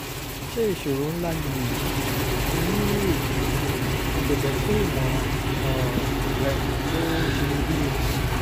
ṣé ìṣòro ńlá ni èyí? mo ni èyí? mo bẹ̀bẹ̀ fún ìmọ̀ràn um rẹ tó ṣeyebíye